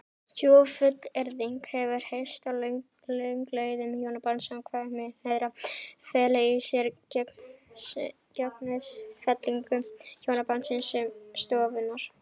Sú fullyrðing hefur heyrst að lögleiðing hjónabands samkynhneigðra feli í sér gengisfellingu hjónabandsins sem stofnunar.